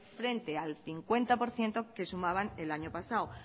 frente al cincuenta por ciento que sumaban el año pasado